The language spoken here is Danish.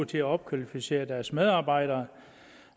til at opkvalificere deres medarbejdere